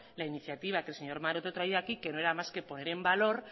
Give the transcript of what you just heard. la iniciativa que el señor maroto traía aquí que no era más que poner en valor